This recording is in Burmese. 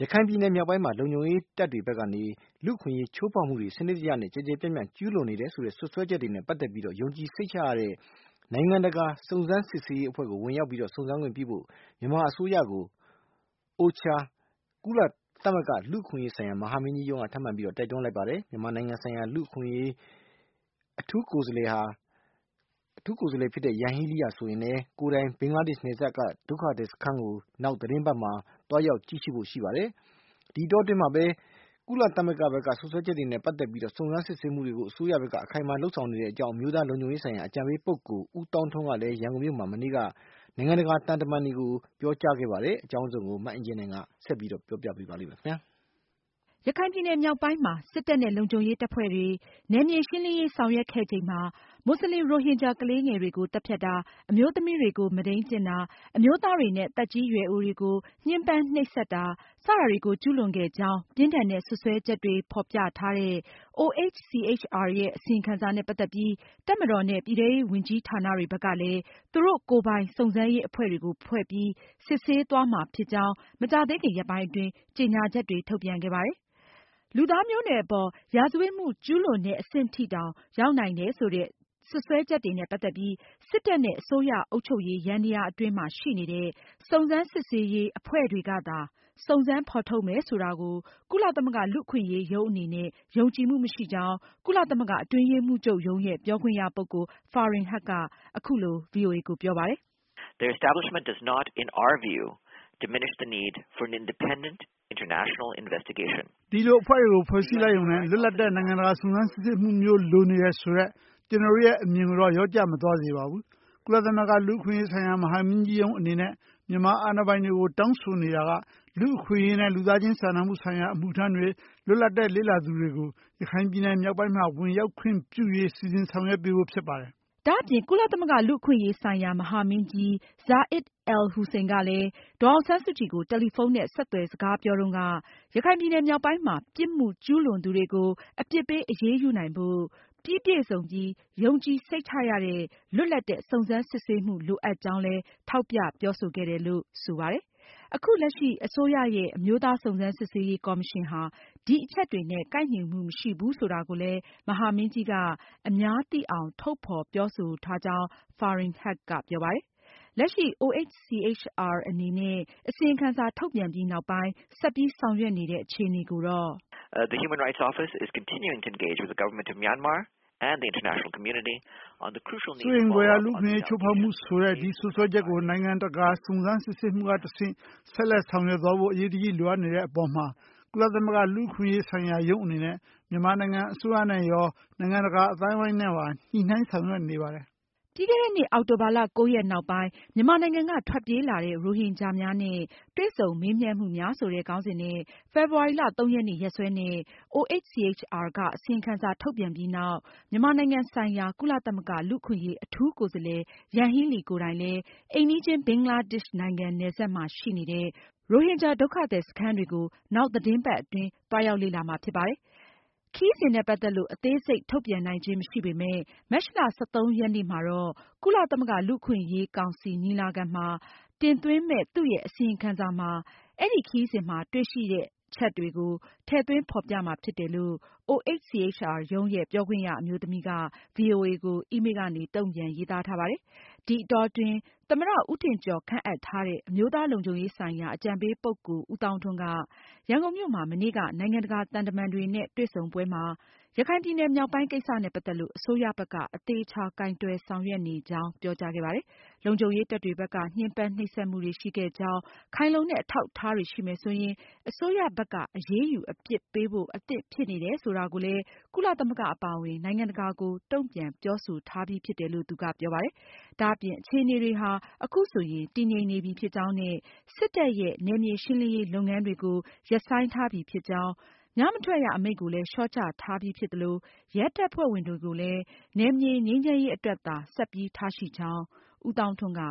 ခိုင်ပြည်နယ်မြောက်ပိုင်းမှာ လုံခြုံရေးတပ်တွေဖက်က လူ့အခွင့်အရေးချိုးဖောက်မှုတွေ စနစ်တကျ၊ ကျယ်ကျယ်ပြန့်ပြန့် ကျူးလွန်ခဲ့တယ်ဆိုတဲ့ စွပ်စွဲချက်တွေနဲ့ပတ်သက်ပြီး ယုံကြည်ရတဲ့ နိုင်ငံတကာစုံစမ်းစစ်ဆေးရေးအဖွဲ့ကို ဝင်ရောက် စုံစမ်းခွင့်ပြုဖို့ မြန်မာအစိုးရကို OHCHR ကုလသမဂ္ဂ လူ့အခွင့်အရေးဆိုင်ရာ မဟာမင်းကြီးရုံးက ထပ်မံ တိုက်တွန်းလိုက်ပါတယ်။ မြန်မာနိုင်ငံဆိုင်ရာ ကုလသမဂ္ဂလူ့အခွင့်အရေး အထူးကိုယ်စားလှယ် Yanghee Lee ကိုယ်တိုင်လည်း ဘင်္ဂလားဒေ့ရှ်နယ်စပ်က ရိုဟင်ဂျာဒုက္ခသည်စခန်းကို နောက်သတင်းပတ်အတွင်း သွားရောက်ကြည့်ရှုမှာဖြစ်ပါတယ်။ ဒီအတောအတွင်းမှာပဲ အခုလို ကုလသမဂ္ဂဘက်က စွပ်စွဲချက်တွေနဲ့ ပတ်သက်ပြီး စုံစမ်းစစ်ဆေးမှုတွေကို အစိုးရဘက်က အခိုင်အမာလုပ်ဆောင်နေကြောင်း အမျိုးသားလုံခြုံရေးဆိုင်ရာ အကြံပေးပုဂ္ဂိုလ် ဦးသောင်းထွန်းက ရန်ကုန်မြို့မှာ မနေ့က နိုင်ငံတကာသံတမန်တွေနဲ့ တွေ့ဆုံပွဲမှာ ပြောကြားခဲ့ပါတယ်။ မအင်ကြင်းနိုင်က အပြည့်အစုံကို ဆက်ပြီးပြောပြမှာပါ။ ရခိုင်ပြည်နယ်မြောက်ပိုင်းမှာ စစ်တပ်နဲ့ လုံခြုံရေးတပ်ဖွဲ့တွေ နယ်မြေရှင်းလင်းရေးဆောင်ရွက်ခဲ့ချိန်မှာ မွတ်စလင် ရိုဟင်ဂျာ တွေကို ညှမ်းပမ်းနှိပ်စက်မှုတွေ စတာတွေကို ကျူးလွန်ခဲ့ကြောင်း ပြင်းထန်တဲ့ စွပ်စွဲချက်တွေကို ဖေါ်ပြထားတဲ့ OHCHR ရဲ့ အစီရင်ခံစာနဲ့ ပတ်သက်ပြီး တပ်မတော်နဲ့ ပြည်ထဲရေးဝန်ကြီးဌာနတွေဘက်ကလည်း သူတို့ကိုယ်ပိုင် စုံစမ်းရေးအဖွဲ့တွေကို ဖွဲ့ပြီး စစ်ဆေးသွားမှာဖြစ်ကြောင်း မကြာသေးခင်ရက်ပိုင်းအတွင်း ကြေညာချက်တွေ ထုတ်ပြန်ခဲ့ပါတယ်။ လူသားမျိုးနွယ်အပေါ် ရာဇဝတ်မှုကျူးလွန်ရာရောက်နေတယ်ဆိုတဲ့ စွပ်စွဲချက်တွေနဲ့ပတ်သက်ပြီး စစ်တပ်နဲ့ အစိုးရ အုပ်ချုပ်ရေးယန္တာယား အတွင်းမှာရှိနေတဲ့စုံစမ်းစစ်ဆေးရေးအဖွဲ့တွေကပဲ စုံစမ်းဖေါ်ထုတ်မယ်ဆိုတာကို ကုလသမဂ္ဂလူ့အခွင့်အရေးရုံး အနေနဲ့ ယုံကြည်မှုမရှိကြောင်း ကုလသမဂ္ဂအတွင်းရေးမှူးချုပ်ရုံးရဲ့ ပြောခွင့်ရပုဂ္ဂိုလ် Farhan Haq က အခုလို ဗွီအိုအေကို ပြောပါတယ်။ “ဒီလို အဖွဲ့တွေကို ဖွဲ့စည်းလိုက်ရုံနဲ့လွတ်လပ်တဲ့ နိုင်ငံတကာစုံစမ်းစစ်ဆေးမှုမျိုးလိုနေတယ်ဆိုတဲ့ ကျနော်တို့ရဲ့ အမြင်ကိုတော့ လျော့ကျမသွားစေပါဘူး။ ကုလသမဂ္ဂ လူ့အခွင့်အရေးဆိုင်ရာ မဟာမင်းကြီးရုံးအနေနဲ့ မြန်မာအာဏာပိုင်တွေကို တောင်းဆိုနေတာက လူ့အခွင့်အရေးနဲ့ လူသားချင်းစာနာမှုဆိုင်ရာ အမှုထမ်းတွေ၊ လွတ်လပ်တဲ့ လေ့လာသူတွေကိုရခိုင်ပြည်နယ်မြောက်ပိုင်းမှာ ဝင်ရောက်ခွင့်ပြုရေး စီစဉ်ဆောင်ရွက်ပေးဖို့ဖြစ်ပါတယ်။” ဒါအပြင် ကုလသမဂ္ဂ လူ့အခွင့်အရေးဆိုင်ရာ မဟာမင်းကြီး Zeid Al- Hussein က ဒေါ်အောင်ဆန်းစုကြည်ကို တယ်လီဖုန်းနဲ့ ဆက်သွယ် စကားပြောတုန်းက ရခိုင်ပြည်နယ်မြောက်ပိုင်းမှာ ပြစ်မှုကျူးလွန်သူတွေကို အပြစ်ပေးအရေးယူနိုင်ဖို့ ပြီးပြည့်စုံပြီး ယုံကြည်စိတ်ချရတဲ့ လွတ်လပ်တဲ့ စုံစမ်းစစ်ဆေးမှုလိုအပ်ကြောင်းလည်း ထောက်ပြပြောဆိုခဲ့တယ်လို့ ဆိုပါတယ်။ အခုလက်ရှိ အစိုးရရဲ့အမျိုးသားစုံစမ်းစစ်ဆေးရေးကော်မရှင်ဟာ ဒီအချက်တွေနဲ့ ကိုက်ညီမှုမရှိဘူးဆိုတာကိုလည်း မဟာမင်းကြီးက တရားဝင် ထုတ်ဖေါ်ပြောဆိုထားကြောင်း Farhan Haq ကပြောပါတယ်။ လက်ရှိ OHCHR အနေနဲ့ အစီရင်ခံစာ ထုတ်ပြန်ပြီးနောက် ဆက်ပြီးဆောင်ရွက်နေတဲ့အခြေအနေကိုတော့သူက အခုလိုပြောပါတယ်။ “စိုးရိမ်ဖွယ်ရာ လူ့အခွင့်အရေးချိုးဖောက်မှု ဆိုတဲ့ ဒီစွပ်စွဲချက်တွေကို နိုင်ငံတကာ စုံစမ်းစစ်ဆေးမှုကတဆင့် ဆက်လက်ဆောင်ရွက်သွားဖို့ အရေးတကြီးလိုအပ်နေတဲ့အပေါ်မှာ ကုလသမဂ္ဂလူအခွင့်အရေးဆိုင်ရာ ရုံးအနေနဲ့ မြန်မာအစိုးရနဲ့ရော နိုင်ငံတကာ အသိုင်းအဝိုင်းနဲ့ပါ ညှိုနှိုင်းဆောင်ရွက်နေပါတယ်။” ပြီးခဲ့တဲ့နှစ် အောက်တိုဘာလ (၉)ရက်နောက်ပိုင်း မြန်မာနိုင်ငံက ထွက်ပြေးလာတဲ့ ရိုဟင်ဂျာများနဲ့ တွေ့ဆုံမေးမြန်းမှုများဆိုတဲ့ ခေါင်းစဉ်နဲ့ဖေဖေါ်ဝါရီလ (၃)ရက်နေ့ ရက်စွဲနဲ့OHCHR က အစီရင်ခံစာထုတ်ပြန်ပြီးနောက် မြန်မာနိုင်ငံဆိုင်ရာ ကုလသမဂ္ဂလူ့အခွင့်အရေး အထူးကိုယ်စားလှယ် Yanghee Lee ကိုယ်တိုင် အိမ်နီးချင်း ဘင်္ဂလားဒေ့ရှ်နိုင်ငံနယ်စပ်မှာရှိတဲ့ ရိုဟင်ဂျာဒုက္ခသည်စခန်းကို နောက်သတင်းပတ်အတွင်း သွားရောက်လေ့လာမှာဖြစ်ပါတယ်။ ခရီးစဉ်နဲ့ပတ်သက်လို့ အသေးစိတ်ထုတ်ပြန်နိုင်ခြင်းမရှိပေမဲ့ မတ်လ (၁၃)ရက်နေ့မှာ ကုလသမဂ္ဂလူ့အခွင့်အရေးကောင်စီညီလာခံမှာ တင်သွင်းမယ့် သူရဲ့အစီရင်ခံစာမှာ ခရီးစဉ်အတွင်း တွေ့ရှိချက်တွေကို ထည့်သွင်းဖေါ်ပြမှာဖြစ်တယ်လို့ OHCHR ရုံးရဲ့ ပြောခွင့်ရအမျိုးသမီးက ဗွီအိုအေကို အီးမေးလ်ကနေ တုန့်ပြန်ရေးသားထားပါတယ်။ ဒီအတောအတွင်း သမ္မတ ဦးထင်ကျော်ခန့်အပ်ထားတဲ့ အမျိုးသားလုံခြုံရေးဆိုင်ရာ အကြံပေးပုဂ္ဂိုလ် ဦးသောင်းထွန်းက ရန်ကုန်မြို့မှာ မနေ့က နိုင်ငံတကာသံတမန်တွေနဲ့ တွေ့ဆုံပွဲမှာ ရခိုင်ပြည်နယ်မြောက်ပိုင်း ကိစ္စနဲ့ပတ်သက်လို့ အစိုးရဘက်က အသေအချာ ကိုင်တွယ်ဆောင်ရွက်နေကြောင်း ပြောကြားခဲ့ပါတယ်။ လုံခြုံရေးတပ်တွေဘက်က ညှဉ်းပမ်းနှိပ်စက်မှုတွေရှိခဲ့ကြောင်း ခိုင်လုံတဲ့ အထောက်အထားတွေရှိမယ်ဆိုရင် အစိုးရဘက်က အရေးယူအပြစ်ပေးဖို့ အသင့်ဖြစ်နေတယ်ဆိုတာကိုလည်း ကုလသမဂ္ဂအပါအဝင် နိုင်ငံတကာကို တုန့်ပြန်ပြောဆိုထားပြီဖြစ်တယ်လို့ သူကပြောပါတယ်။ ဒါအပြင် အခြေအနေတွေဟာ အခုဆိုရင် တည်ငြိမ်နေပြီးဖြစ်ကြောင်းနဲ့ စစ်တပ်ရဲ့ နယ်မြေရှင်းလင်းရေးလုပ်ငန်းတွေကို ရပ်ဆိုင်းထားပြီးဖြစ်ကြေင်း၊ ညမထွက်ရအမိန့်ကို လျော့ချထားပြီးဖြစ်သလို ရဲတပ်ဖွဲ့ဝင်တွေကိုပဲ နယ်မြေငြိမ်းချမ်းရေးအတွက် ဆက်ပြီးထားရှိကြောင်း ဦးသောင်းထွန်းက